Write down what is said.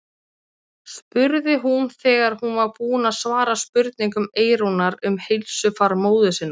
spurði hún þegar hún var búin að svara spurningum Eyrúnar um heilsufar móður sinnar.